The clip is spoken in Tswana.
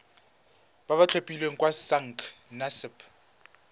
ba ba tlhophilweng ke sacnasp